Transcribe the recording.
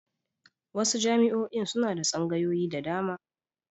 Wasu jami'oin suna da tsangaoyi da dama.